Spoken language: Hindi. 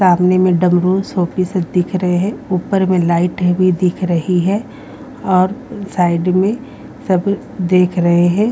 सामने में डमरू सोपीज़ दिख रहे हैं ऊपर में लाइटें भी दिख रही है और साइड में सब देख रहे हैं।